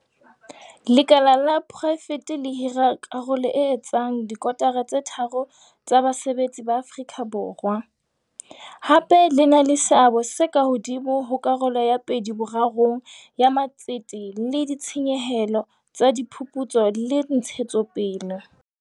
Lekala la poraefete le hira karolo e etsang dikotara tse tharo tsa basebetsi ba Afrika Borwa, hape le na le seabo se ka hodimo ho karolo ya pedi-borarong ya matsete le ditshenyehelo tsa diphuputso le ntshetsopele.